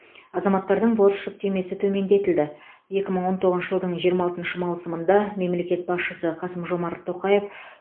азаматтардың борыш жүктемесі төмендетілді екі мың он тоғызыншы жылдың жиырма алтыншы маусымында мемлекет басшысы қасым жомарт тоқаев